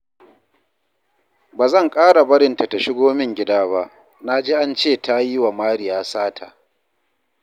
Ba zan ƙara barinta ta shigo min gida ba, na ji an ce ta yiwa Mariya sata